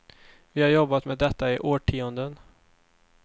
Vi har jobbat med detta i årtionden.